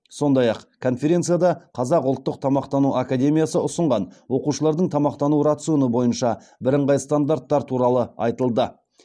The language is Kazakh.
сондай ақ конференцияда қазақ ұлттық тамақтану академиясы ұсынған оқушылардың тамақтану рационы бойынша бірыңғай стандарттар туралы айтылды